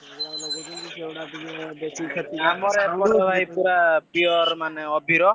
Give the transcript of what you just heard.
ସେଗୁଡା ଲଗାଉଛନ୍ତି ସେଗୁଡା ବେଶୀ କ୍ଷତି ଆମର ଏପଟରେ ମାନେ ପୁରା pure ଅବିର।